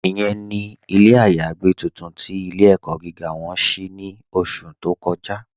Ìyẹ̀n ni ilẹ̀ ayàgbẹ̀ tuntun tí ilẹ̀-ẹ̀kọ́ gígá wọn ṣí ní ọ̀ṣù tó kọ́ja.